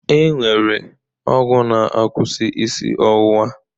E nwere ọgwụ na-akwụsị isi ọwụwa